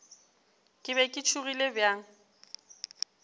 ke be ke tšhogile bjang